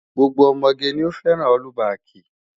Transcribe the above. Gbogbo ọmọge ni ó fẹ́ràn ọ́lúbaàkì.